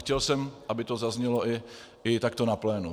Chtěl jsem, aby to zaznělo i takto na plénu.